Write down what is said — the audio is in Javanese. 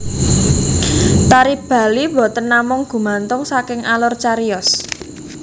Tari Bali boten namung gumantung saking alur cariyos